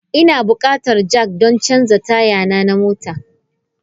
Ina bukatan jack don canza taya na mota.